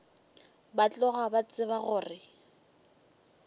ba tloga ba tseba gore